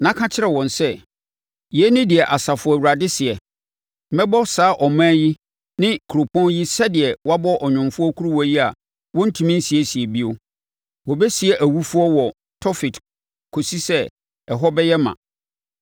na ka kyerɛ wɔn sɛ, ‘Yei ne deɛ Asafo Awurade seɛ: Mɛbɔ saa ɔman yi ne kuropɔn yi sɛdeɛ wɔabɔ ɔnwomfoɔ kuruwa yi a wɔrentumi nsiesie bio. Wɔbɛsie awufoɔ wɔ Tofet kɔsi sɛ, ɛhɔ bɛyɛ ma.